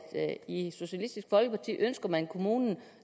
i socialistisk folkeparti ønsker man kommunen